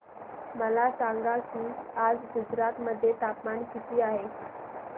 मला सांगा की आज गुजरात मध्ये तापमान किता आहे